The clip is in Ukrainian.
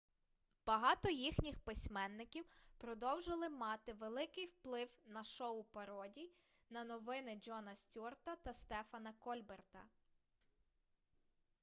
багато їхніх письменників продовжили мати великий вплив на шоу пародій на новини джона стюарта та стефана кольберта